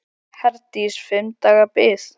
Herdís: Fimm daga bið?